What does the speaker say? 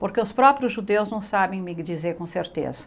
Porque os próprios judeus não sabem me dizer com certeza.